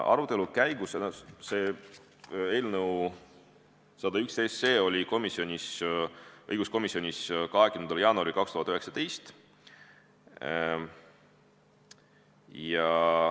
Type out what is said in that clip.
Arutelul oli eelnõu 101 õiguskomisjonis 20. jaanuaril 2020.